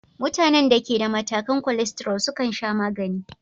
Mutanen da ke da matakan cholesterol sukan sha magani.